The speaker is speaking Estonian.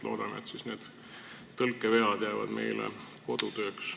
Loodame, et need tõlkevead jäävad siis meile kodutööks.